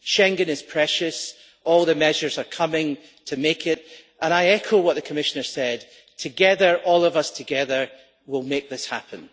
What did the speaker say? Schengen is precious, all the measures are coming to make it, and I echo what the Commissioner said together, all of us together, will make this happen.